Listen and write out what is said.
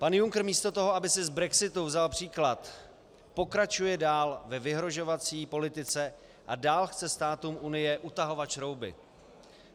Pan Juncker místo toho, aby si z brexitu vzal příklad, pokračuje dál ve vyhrožovací politice a dál chce státům Unie utahovat šrouby.